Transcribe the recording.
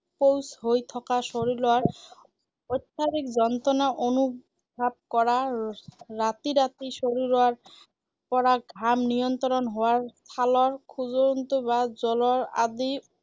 শৌচ হৈ থকা, শৰীৰত অত্যাধিক যন্ত্ৰণা অনুভাৱ কৰা, ৰাতি ৰাতি শৰীৰৰ পৰা ঘাম নিয়ন্ত্ৰণ হোৱাৰ ছালৰ খজুৱতি বা জ্বৰৰ আদি